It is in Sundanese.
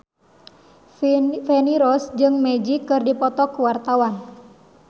Feni Rose jeung Magic keur dipoto ku wartawan